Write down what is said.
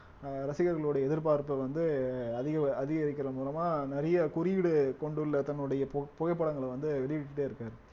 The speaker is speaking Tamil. அஹ் ரசிகர்களுடைய எதிர்பார்ப்பு வந்து அதிக~ அதிகரிக்கிறது மூலமா நிறைய குறியீடு கொண்டுள்ள தன்னுடைய பு~ புகைப்படங்களை வந்து வெளியிட்டுட்டே இருக்காரு